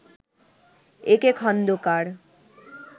A K Khandakar